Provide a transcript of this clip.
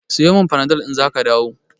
Siyo min Panadol in zaka dawo.